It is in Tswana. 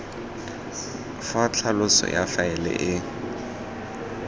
fa tlhaloso ya faele e